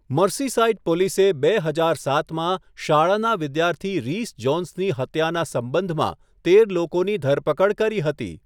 Merseyside પોલીસે બે હજાર સાતમાં શાળાના વિદ્યાર્થી રિસ જોન્સની હત્યાના સંબંધમાં તેર લોકોની ધરપકડ કરી હતી.